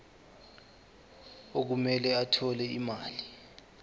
okumele athole imali